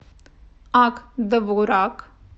ак довурак